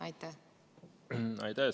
Aitäh!